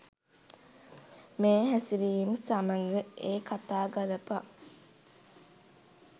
මේ හැසිරිම් සමග ඒ කතා ගළපා